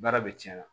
Baara bɛ cɛn